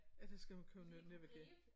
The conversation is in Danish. Ja det skal man kunne navigere